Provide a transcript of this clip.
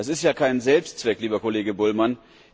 Das ist ja kein Selbstzweck, lieber Kollege Bullmann.